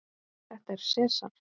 Þetta er Sesar.